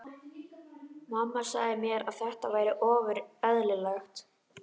Mamma sagði mér að þetta væri ofur eðlilegt.